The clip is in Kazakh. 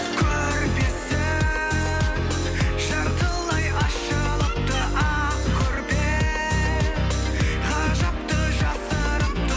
көрпесі жартылай ашылыпты ақ көрпе ғажапты жасырыпты